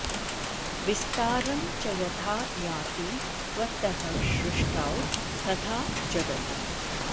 विस्तारं च यथा याति त्वत्तः सृष्टौ तथा जगत्